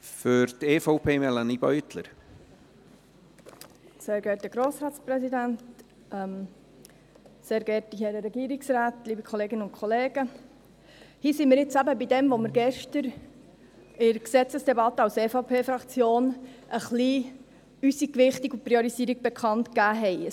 Hier sind wir nun eben bei dem, was wir gestern in der Gesetzesdebatte als EVP-Fraktion von unserer Gewichtung und Priorisierung ein wenig bekannt gegeben haben.